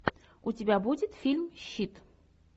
у тебя будет фильм щит